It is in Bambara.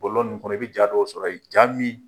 Bɔlɔlɔ ninnu kɔnɔ i bɛ ja dɔw sɔrɔ ye ja min